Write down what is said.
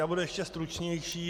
Já budu ještě stručnější.